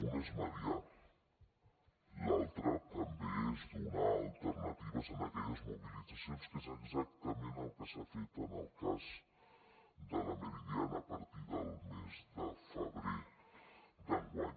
una és mediar l’altra també és donar alternatives a aquelles mobilitzacions que és exactament el que s’ha fet en el cas de la meridiana a partir del mes de febrer d’enguany